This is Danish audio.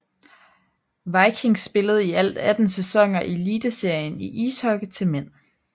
Viking spillede i alt 18 sæsoner i Eliteserien i ishockey til mænd